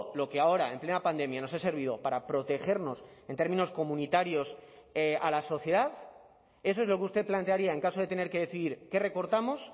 lo que ahora en plena pandemia nos ha servido para protegernos en términos comunitarios a la sociedad eso es lo que usted plantearía en caso de tener que decidir qué recortamos